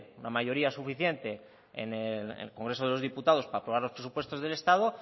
la mayoría suficiente en el congreso de los diputados para aprobar los presupuestos del estado